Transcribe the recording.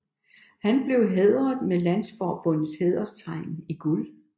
Han bkev hædret med landsforbundets hæderstegn i guld